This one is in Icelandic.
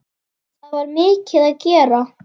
Það var mikið að gera.